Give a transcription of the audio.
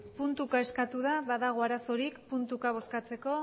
puntuka eskatu da badago arazorik puntuka bozkatzeko